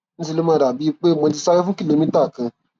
ní ṣe ló máa dàbíi pé um mo ti sáré fún kìlómítà kan